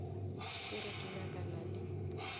ke re ke nyakana le